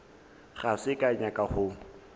ga ke sa nyaka go